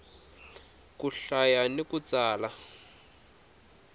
ku hlaya ni ku tsala